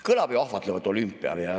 Kõlab ju ahvatlevalt: olümpia.